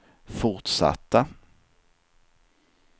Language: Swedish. fortsatta